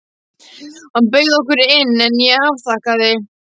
Hann bauð okkur inn, en ég afþakkaði.